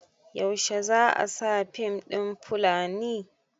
yaushe za a sa fim ɗin Fulani?